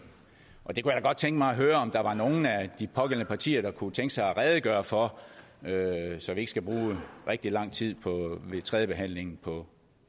godt tænke mig at høre om der er nogle af de pågældende partier der kunne tænke sig at redegøre for så vi ikke skal bruge rigtig lang tid ved tredjebehandlingen på